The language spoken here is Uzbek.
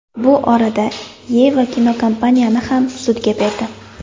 Bu orada Yeva kinokompaniyani ham sudga berdi.